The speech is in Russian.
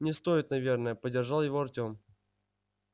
не стоит наверное поддержал его артём